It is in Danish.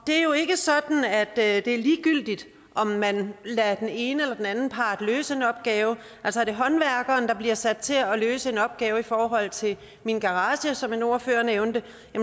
det er jo ikke sådan at det er ligegyldigt om man lader den ene eller den anden part løse en opgave altså er det håndværkeren der bliver sat til at løse en opgave i forhold til en garage som en ordfører nævnte